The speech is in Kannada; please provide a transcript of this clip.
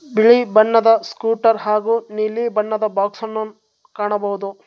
ಬಿಳಿ ಬಣ್ಣದ ಸ್ಕೂಟರ್ ಹಾಗು ನೀಲಿ ಬಣ್ಣದ ಬಾಕ್ಸ್ ಅನ್ನು ಕಾಣಬಹುದು.